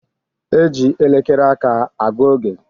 E ji elekere aka a gu oge